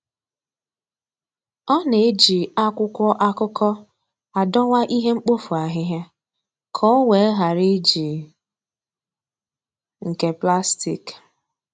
Ọ na-eji akwụkwọ akụkọ adowa ihe mkpofu ahịhịa ka o wee ghara iji nke plastik.